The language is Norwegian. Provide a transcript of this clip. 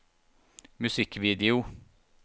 musikkvideo